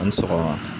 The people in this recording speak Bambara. An bɛ sɔgɔma